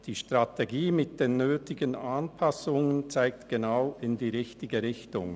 Die Strategie mit den nötigen Anpassungen zeigt genau in die richtige Richtung.